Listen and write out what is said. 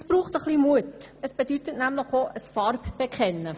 Das braucht etwas Mut, denn man muss Farbe bekennen.